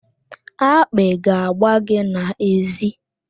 Akpị ga-agba gị n'èzí.